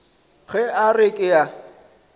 ge a re ke a